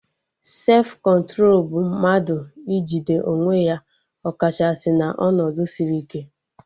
Sefụ kọntro bụ mmadụ ijide onwe ya ọ kachasị na ọnọdụ sịrị ike